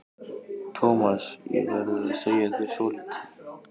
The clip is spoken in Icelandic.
Thomas, ég verð að segja þér svolítið.